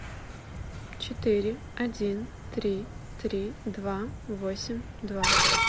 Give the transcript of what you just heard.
четыре один три три два восемь два